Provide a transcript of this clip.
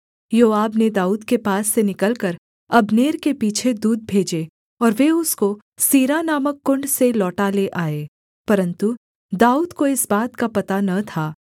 योआब ने दाऊद के पास से निकलकर अब्नेर के पीछे दूत भेजे और वे उसको सीरा नामक कुण्ड से लौटा ले आए परन्तु दाऊद को इस बात का पता न था